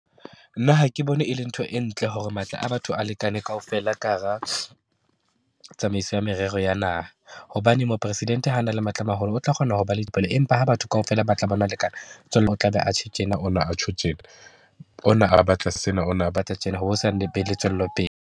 Nna ha ke bone e le ntho e ntle hore matla a batho a lekane kaofela ka hara tsamaiso ya merero ya naha. Hobane Mopresidente ha a na le matla a maholo, ho tla kgona ho ba le , empa ha batho kaofela ba tla lekana, o tla be atjho tjena, ona atjho tjena, ona a batla sena, ona a batla tjena, be le tswellopele.